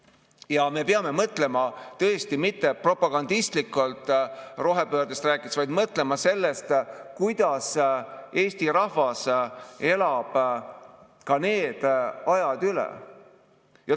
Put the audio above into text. Ja me peame mõtlema tõesti mitte propagandistlikult rohepöördest rääkides, vaid mõtlema sellest, kuidas Eesti rahvas elab ka need ajad üle.